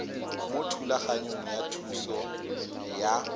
mo thulaganyong ya thuso y